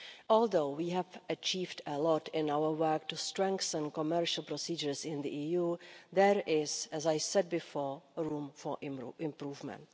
Although we have achieved a lot in our work to strengthen commercial procedures in the EU, there is as I said before room for improvement.